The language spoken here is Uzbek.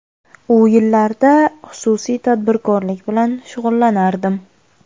U yillarda xususiy tadbirkorlik bilan shug‘ullanardim.